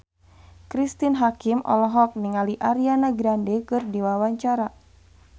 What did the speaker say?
Cristine Hakim olohok ningali Ariana Grande keur diwawancara